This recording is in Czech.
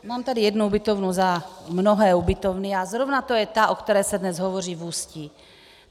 Mám tady jednu ubytovnu za mnohé ubytovny a zrovna to je ta, o které se dnes hovoří v Ústí.